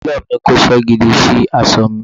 Télọ̀ mi kóṣẹ́ gidi sí aṣọ mi